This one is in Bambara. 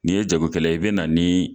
Nin ye jago kɛla ye i bɛ na nin